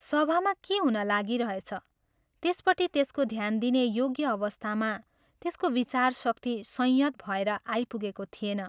सभामा के हुन लागिरहेछ त्यसपट्टि त्यसको ध्यान दिने योग्य अवस्थामा त्यसको विचारशक्ति संयत भएर आइपुगेको थिएन।